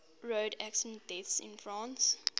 road accident deaths in france